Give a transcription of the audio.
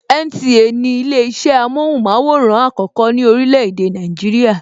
NTA ni ile isẹ amóhùnmaworan àkọ́kọ́ ní orílè èdè Nàìjíríà.